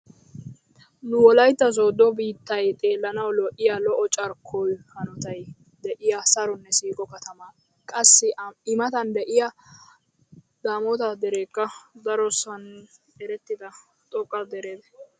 Nu wolaytta sooddo biittay xeelanawu lo'iya lo'o carkkuwa hanotay de'iyo saronne siiqo katama. Qassi i matan de'iya daamoota dereekka darosan erettida xoqqa dere.